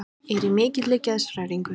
Er í mikilli geðshræringu.